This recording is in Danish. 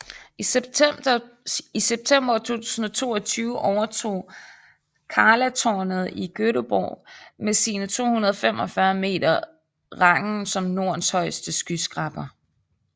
I september 2022 overtog Karlatornet i Göteborg med sine 245 meter rangen som Nordens højeste skyskraber